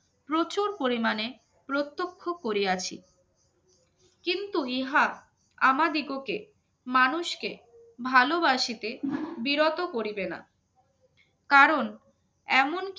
প্রচুর পরিমাণে প্রত্যক্ষ করিয়াছি কিন্তু ইহা আমাদিগকে মানুষকে ভালোবাসিতে বিরত করিবেনা কারণ এমনকি